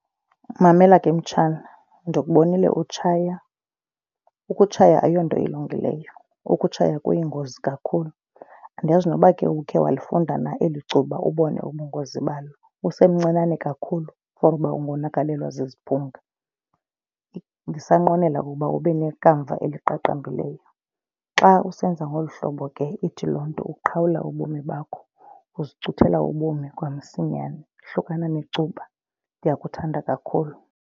Mamela ke, mtshana, ndikubonile utshaya. Ukutshaya ayonto ilungileyo, ukutshaya kuyingozi kakhulu. Andiyazi noba ke uba ukhe walifunde na eli cuba ubone ubungozi balo. Usemncinane kakhulu for uba ungonakalelwa ziziphunga. Ndisanqwenela ukuba ube nekamva eliqaqambileyo. Xa usenza ngolu hlobo ke ithi loo nto uqhawula ubomi bakho, uzicuthela ubomi kwamsinyane. Hlukana necuba. Ndiyakuthanda kakhulu.